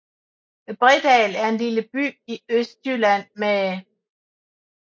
Bredal er en lille by i Østjylland med